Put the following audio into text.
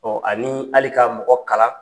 ani hali ka mɔgɔ kalan